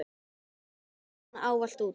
Hún vann ávallt úti.